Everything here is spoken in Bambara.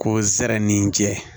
Ko zɛrɛninjɛ